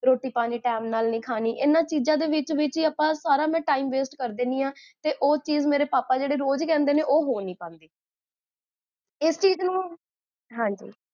ਰੋੱਟੀ, ਪਾਣੀ ਟੇਮ ਨਾਲ ਨੀ ਖਾਣੀ, ਇੰਨਾ ਚੀਜਾਂ ਦੇ ਵਿੱਚ ਸਾਰਾ ਮੈਂ time waste ਕਰ੍ਦਿੰਨੀ ਆ, ਤੇ ਓਹ ਚੀਜ਼ ਪਾਪਾ ਮੇਰੇ ਜੋ ਕਹੰਦੇ ਨੇ, ਓਹ ਹੋ ਨੀ ਪਾਂਦੀ, ਇਸੇ